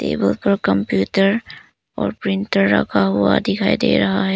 ये बहुत बड़ा कंप्यूटर और प्रिंटर रखा हुआ दिखाई दे रहा है।